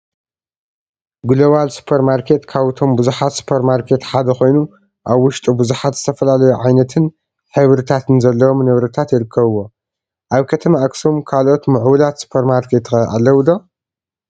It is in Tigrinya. ግሎባል ሱፐር ማርኬት ካብቶም ቡዙሓት ሱፐር ማርኬት ሓደ ኮይኑ አብ ውሽጡ ቡዙሓት ዝተፈላለዩ ዓይነትን ሕብሪታትን ዘለዎም ንብረታት ይርከቡዎ፡፡ አብ ከተማ አክሱም ካልኦት ሙዕቡላት ሱፐር ማርኬት ኸ አለው ዶ?